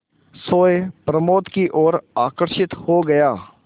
सोए प्रमोद की ओर आकर्षित हो गया